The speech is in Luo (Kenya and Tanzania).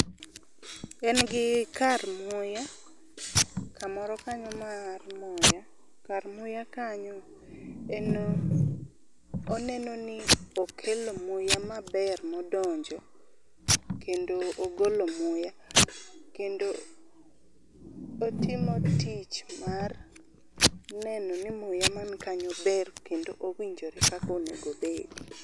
en gi kar muya kamoro, kanyo mar muya. kar muya kanyo en oneno ni okalo muya maber modonjo kendo ogolo muya. kendo otimo tich mar neno ni muya man kanyo ber